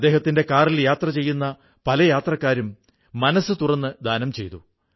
അദ്ദേഹത്തിന്റെ കാറിൽ യാത്ര ചെയ്യുന്ന പല യാത്രക്കാരും മനസ്സു തുറന്ന് ദാനം ചെയ്തു